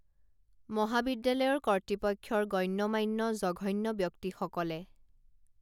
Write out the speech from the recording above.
মহাবিদ্যালয়ৰ কৰ্তৃপক্ষৰ গণ্য মান্য জঘন্য ব্যক্তি সকলে